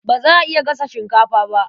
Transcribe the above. Ba za a iya gasa shinkafa ba.